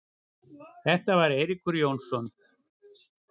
Þetta var Eiríkur Jónsson.